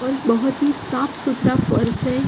और बहोत ही साफ सुथरा फर्स है।